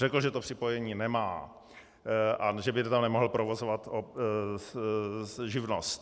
Řekl, že to připojení nemá a že by tam nemohl provozovat živnost.